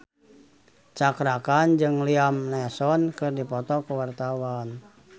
Cakra Khan jeung Liam Neeson keur dipoto ku wartawan